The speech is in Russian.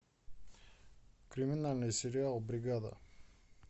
криминальный сериал бригада